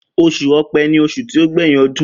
Osùn ọpẹ ni osun ti o gbẹyin ọdún.